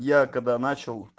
я когда начал